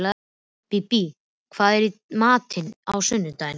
Bíbí, hvað er í matinn á sunnudaginn?